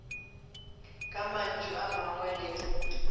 ka mantšu a mangwe le